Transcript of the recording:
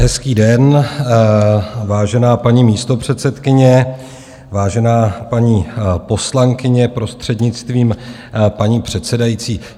Hezký den, vážená paní místopředsedkyně, vážená paní poslankyně, prostřednictvím paní předsedající.